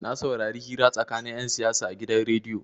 Na saurari hira tsakanin 'yan siyasa a gidan rediyo.